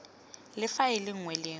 le faele nngwe le nngwe